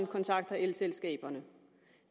kontakter elselskaberne